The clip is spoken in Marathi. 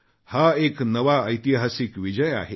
हा एक नवा ऐतिहासिक विजय आहे